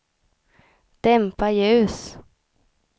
dämpa ljus